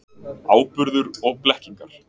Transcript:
Áburður og blekkingar.